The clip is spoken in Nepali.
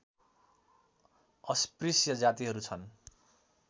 अस्पृश्य जातिहरू छन्